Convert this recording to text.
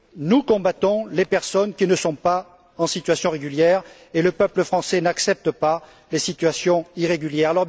Nous combattons les personnes qui ne sont pas en situation régulière et le peuple français n'accepte pas les situations irrégulières.